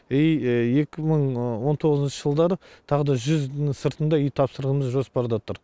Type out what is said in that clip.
и екі мың он тоғызыншы жылдары тағы да жүз сыртында үй тапсырылымыз жоспарда тұр